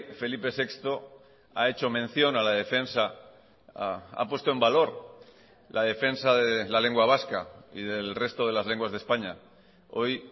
felipe sexto ha hecho mención a la defensa ha puesto en valor la defensa de la lengua vasca y del resto de las lenguas de españa hoy